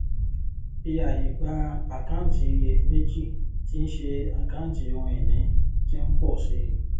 fi àyè gba àkáǹtì iyèméjì tí ń ṣé àkáǹtì ohun ìní tí ń pọ sí i